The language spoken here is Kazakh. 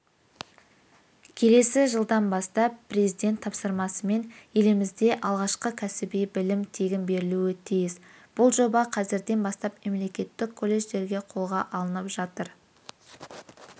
келесі жылдан бастап президент тапсырмасымен елімізде алғашқы кәсіби білім тегін берілуі тиіс бұл жоба қазірден бастап мемлекеттік колледждерде қолға алынып жатыр